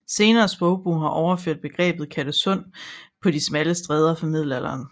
Senere sprogbrug har overført begrebet Kattesund på de smalle stræder fra middelalderen